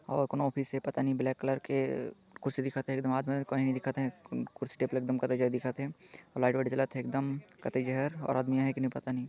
और कोनो ऑफिस है पता नहीं ब्लैक कलर के कुर्सी दिखत है कुर्सी टेबल एकदम कतई जहर दिखत है और लाइट वाइट जलत है एकदम कतई ज़हर और आदमी है कि नहीं पता नहीं--